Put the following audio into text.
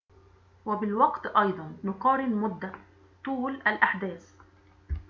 وبالوقت أيضًا نقارن مدة طول الأحداث